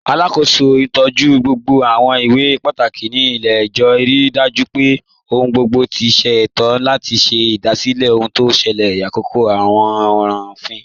Alákó̩sọ̀ ntọju gbogbo àwọn ìwé pátákì ní ilẹ̀-ẹ̀jọ̀, ríí dájú pé ọ̀hun gbogbo ti ṣéto, àti ṣè igbásílẹ̀ ọhun tí o ṣẹlẹ̀ làkòkò àwọn ọ̀ràn ọ̀fin.